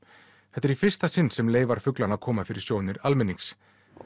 þetta er í fyrsta sinn sem leifar fuglanna koma fyrir sjónir almennings